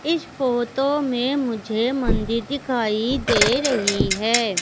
इस फोटो में मुझे मंदिर दिखाई दे रही है।